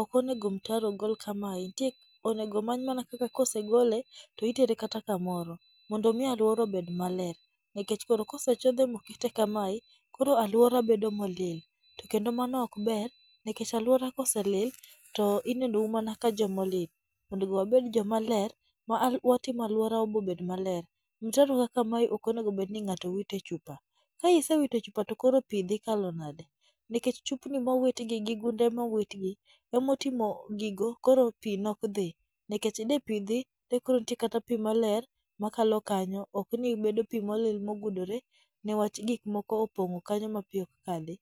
Ok onego mtaro ogol kamae nitie onego omany mana kaka ka osegole to itere kata kamoro mondo mi alwora obed maler. Nikech koro kosechodhe mokete kamae, koro alwora bedo molil to kendo mano ok ber, nikech alwora ka oselil to inenou mana ka joma olil. Onego wabed joma ler ma alwo watimo alwora bo bed maler. Mtaro kaka mae ok onego obed ni ng'ato wite chupa. Kaisewite chupa to koro pi dhi kalo nade?. Nikech chupni mowitgi gi gunde mowit gi, emotimo gigo koro pi nok dhi. Nikech de pi dhi, de koro ntie kata pi maler makalo kanyo ok ni bedo pi molil mogudore newach gik moko opong' kanyo ma pi ok kadhi.